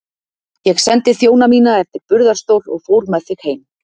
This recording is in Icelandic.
Ég sendi þjóna mína eftir burðarstól og fór með þig heim.